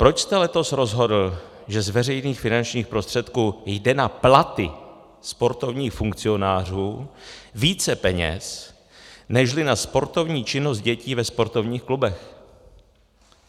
Proč jste letos rozhodl, že z veřejných finančních prostředků jde na platy sportovních funkcionářů více peněz nežli na sportovní činnost dětí ve sportovních klubech?